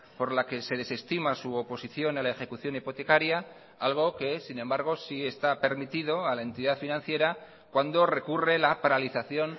por la que se desestima su oposición a la ejecución hipotecaria algo que sin embargo sí está permitido a la entidad financiera cuando recurre la paralización